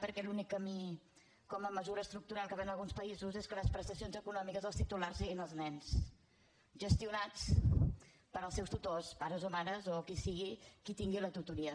perquè l’únic camí com a mesura estructural que va en alguns països és que de les prestacions econòmiques els titulars siguin els nens gestio nades pels seus tutors pares o mares o qui sigui que en tingui la tutoria